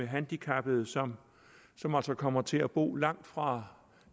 handicappede som som altså kommer til at bo langt fra